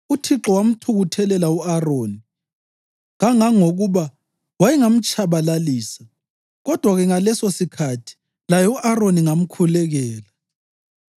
UThixo wamthukuthelela u-Aroni kangangokuba wayengamtshabalalisa, kodwa-ke ngalesosikhathi laye u-Aroni ngamkhulekela.